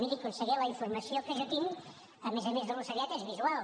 miri conseller la informació que jo tinc a més a més de l’ocellet és visual